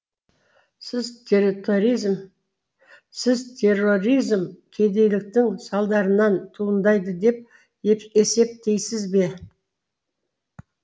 сіз терроризм кедейліктің салдарынан туындайды деп есептейсіз бе